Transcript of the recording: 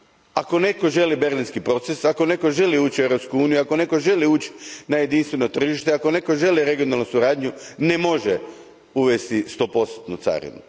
Ako netko želi Berlinski proces, ako netko želi ući u Europsku uniju, ako netko želi ući na jedinstveno tržište, ako netko želi regionalnu suradnju, ne može uvesti stopostotnu carinu.